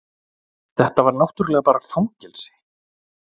Þetta var náttúrlega bara fangelsi.